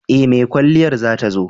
E, mai kwalliyar za ta zo.